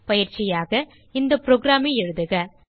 பயிற்சியாக இந்த புரோகிராம் எழுதுக